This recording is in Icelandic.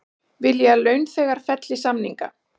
Vilja að launþegar felli samningana